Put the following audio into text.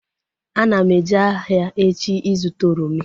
Ana m eje ahịa echi ịzụta oroma